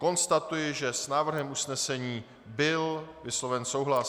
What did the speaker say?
Konstatuji, že s návrhem usnesení byl vysloven souhlas.